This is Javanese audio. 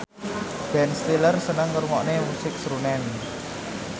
Ben Stiller seneng ngrungokne musik srunen